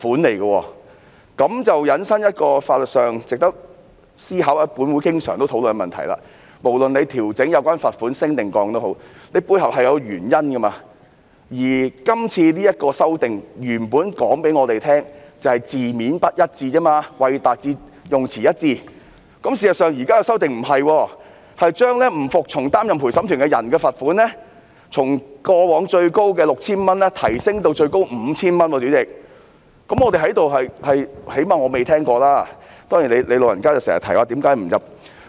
這便引申出法律上值得思考或本會經常討論的問題，無論有關罰款調整是增加或減少，背後是有原因的，而當局原本告訴我們，今次修訂只是"為達致用詞一致"，但事實上，現在的修訂不是，將不服從擔任陪審員的罰款從過往最高的 3,000 元提升至最高 5,000 元，最少我在這裏是不曾聽聞的。